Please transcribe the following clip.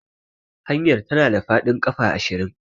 Hanyar tana da faɗin ƙafa ashirin.